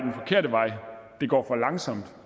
det går for langsomt at